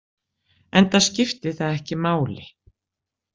Enda skipti það ekki máli.